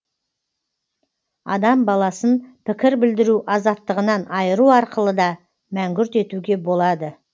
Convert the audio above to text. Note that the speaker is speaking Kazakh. адам баласын пікір білдіру азаттығынан айыру арқылы да мәңгүрт етуге болады